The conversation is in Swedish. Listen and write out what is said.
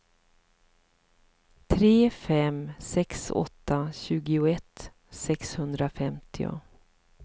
tre fem sex åtta tjugoett sexhundrafemtio